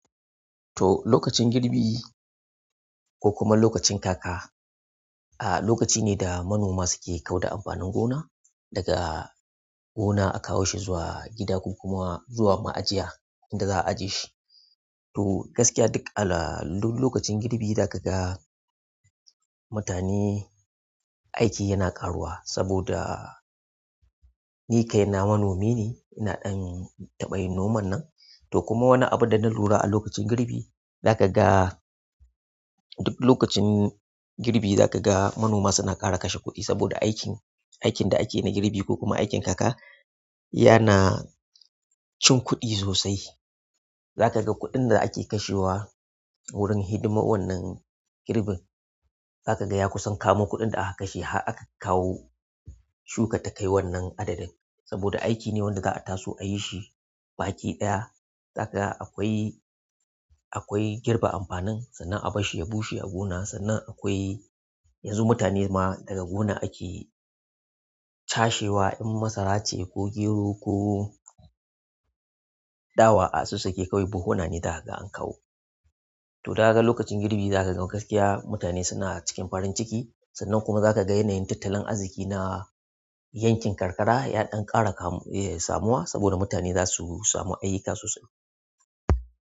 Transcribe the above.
To, lokacin girbi ko kuma lokacin kaka, a, lokaci ne da manoma suke kau da amfanin gona. Daga gona akawo shi zuwa gida ko kuma zuwa ma'ajiya inda za a ajiye shi. To gaskiya duk a, lokacin girbi za ka ga mutane, aiki yana ƙaruwa saboda ni kai na manomi ne, ina ɗan taɓa yin noman nan. To kuma wani abu da na lura a lokacin girbi, za ka ga duk lokacin girbi za ka ga manoma suna ƙara kashe kuɗi saboda aikin, aikin da akeyi na girbi ko kuma aikin kaka yana cin kuɗi sosai. Za ka ga kuɗin da ake kashewa wurin hidimar wannan girbin. Za ka ga ya kusan kamo kuɗin da aka kashe har aka kawo shukar ta kai wannan adadin. Saboda aiki ne wanda za a taso a yi shi baki ɗaya. Za ka ga akwai, akwai girbe amfanin sannan a bar shi ya bushe a gona, sannan akwai yanzu mutane ma daga gonar ake cashewa in masara ce ko gero ko dawa, a sassaƙe kawai buhunane daka ga an kawo. To kaga lokacin girbi zaka ga gaskiya mutane suna cikin farin ciki, sannan kuma zaka ga yanayin tattalin arziki na yankin karkara ya ɗan ƙara samuwa saboda mutane zasu samu aiki sosai.